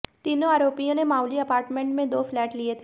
तीनों आरोपियों ने माऊली अपार्टमेंट में दो फ्लैट लिए थे